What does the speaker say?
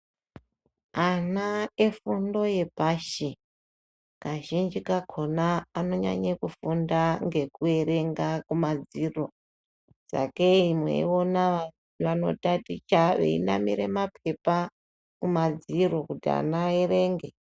Ana efundo yepashi kazhinji kakona anonyanye kufunda ngekuerenga kumadziro sakei mweiona vanotaticha veinamire ma pepa kumadziro kuti ana aerenge.